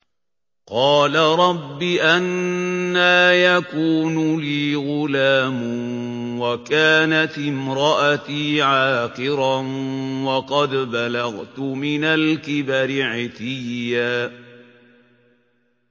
قَالَ رَبِّ أَنَّىٰ يَكُونُ لِي غُلَامٌ وَكَانَتِ امْرَأَتِي عَاقِرًا وَقَدْ بَلَغْتُ مِنَ الْكِبَرِ عِتِيًّا